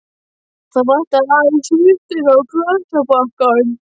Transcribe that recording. Það vantaði aðeins svuntuna og glasabakkann.